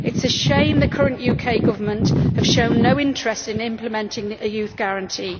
It is a shame the current UK Government has shown no interest in implementing the Youth Guarantee.